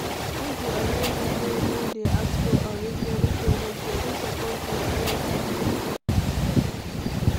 if di online business don dey ask for unreasonable payment person suppose dey careful